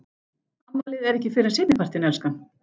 Afmælið er ekki fyrr en seinni partinn, elskan.